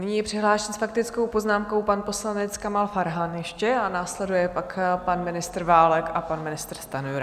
Nyní je přihlášen s faktickou poznámkou pan poslanec Kamal Farhan ještě a následuje pak pan ministr Válek a pan ministr Stanjura.